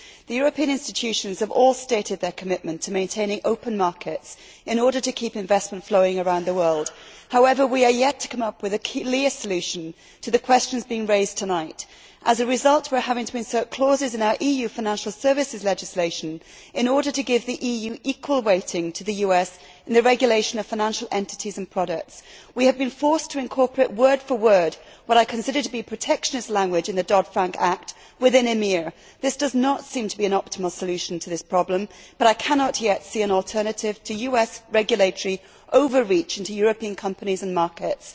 The European institutions have all stated their commitment to maintaining open markets in order to keep investment flowing around the world. However, we are yet to come up with a clear solution to the questions being raised tonight. As a result, we are having to insert clauses in our EU financial services legislation in order to give the EU equal weighting to the US in the regulation of financial entities and products. We have been forced to incorporate word for word in EMIR what I consider to be protectionist language from the Dodd Frank Act. This does not seem to be an optimal solution to this problem, but I cannot yet see an alternative to US regulatory overreach into European companies and markets.